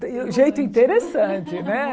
Jeito interessante, né?